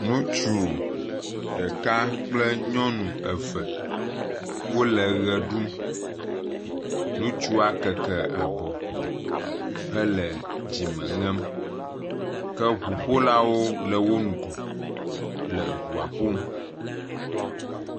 Ŋutsu ɖeka kple nyɔnu eve wole ʋe ɖum, ŋutsu keke abɔ hele dzime ŋem ke ŋuƒolawo le wo ŋgɔ le ŋua ƒom.